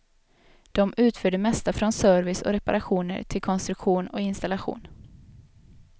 De utför det mesta från service och reparationer till konstruktion och installation.